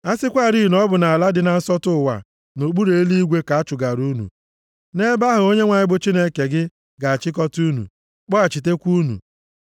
A sịkwarị na ọ bụ nʼala dị na nsọtụ ụwa nʼokpuru eluigwe ka a chụgara unu, nʼebe ahụ Onyenwe anyị bụ Chineke gị ga-achịkọta unu, kpọghachitekwa unu.